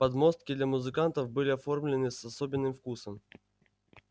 подмостки для музыкантов были оформлены с особенным вкусом